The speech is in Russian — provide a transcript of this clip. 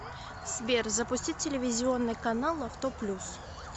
сбер запустить телевизионный канал авто плюс